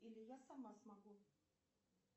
или я сама смогу